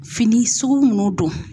Fini suKu munnu don.